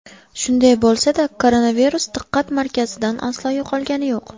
Shunday bo‘lsa-da, koronavirus diqqat markazidan aslo yo‘qolgani yo‘q.